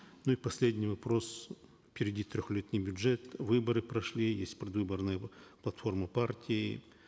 ну и последний вопрос впереди трехлетний бюджет выборы прошли есть предвыборная платформа партии